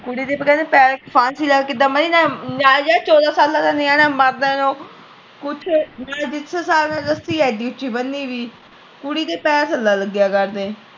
ਕੁੜੀ ਨੇ ਫਾਂਸੀ ਲੈ ਕ ਕਿਦਾਂ ਮਾਰੀ ਨਾਲੇ ਯਾਰ ਚੋਦਾਂ ਸਾਲਾਂ ਦਾ ਨਿਆਣਾ ਮਾਰਦਾ ਉਹ ਕੁਛ ਜਿਸ ਹਿੱਸਾਬ ਨਾਲ ਰਸੀ ਆ ਏਦੀ ਉੱਚੀ ਬਣੀ ਦੀ ਕੁੜੀ ਦੇ ਪੈਰ ਥਲੇ ਲਗਿਆ ਕਰਦੇ